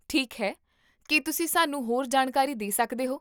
ਠੀਕ ਹੈ, ਕੀ ਤੁਸੀਂ ਸਾਨੂੰ ਹੋਰ ਜਾਣਕਾਰੀ ਦੇ ਸਕਦੇ ਹੋ?